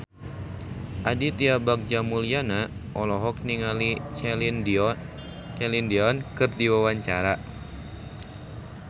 Aditya Bagja Mulyana olohok ningali Celine Dion keur diwawancara